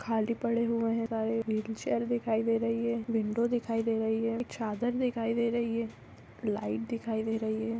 खाली पड़ हुए है। सारे हील चेयर दिखाई दे रही है। विंडो दिखाई दे रही है। एक चादर दिखाई दे रही है। लाइट दिखाई दे रही है।